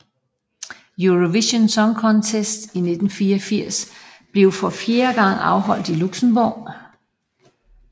Eurovision Song Contest 1984 blev for fjerde gang holdt i Luxembourg